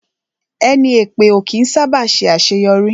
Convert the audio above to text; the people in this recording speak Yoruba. Ẹni èpè ó kí ń sá bà ṣe àṣéyọrí